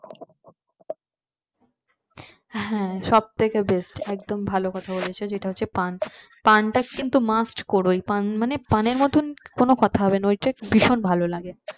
হ্যাঁ সব থেকে best একদম ভালো কথা বলেছো জেতা হচ্ছে পান পান্তা কিন্তু must কোরোই পান মানে পানের মধ্যে কোনো কথা হবেনা ওইটা ভীষণ ভালো লাগে